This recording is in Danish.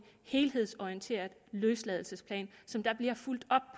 helhedsorienteret løsladelsesplan som der bliver fulgt op